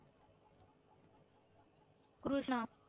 Krishna